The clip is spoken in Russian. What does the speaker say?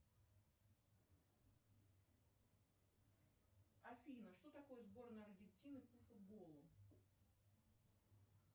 афина что такое сборная аргентины по футболу